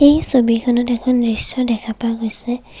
এই ছবিখনত এখন দৃশ্য দেখা পোৱা গৈছে।